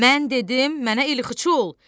Mən dedim, mənə elxıçı ol!